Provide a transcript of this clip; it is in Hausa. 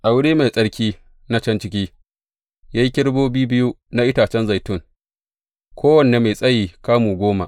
A wuri mai tsarki na can ciki, ya yi kerubobi biyu na itacen zaitun, kowanne mai tsayi kamu goma.